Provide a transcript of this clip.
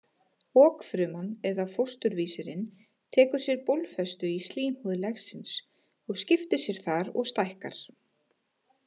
Okfruman eða fósturvísirinn tekur sér bólfestu í slímhúð legsins og skiptir sér þar og stækkar.